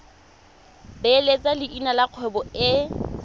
beeletsa leina la kgwebo e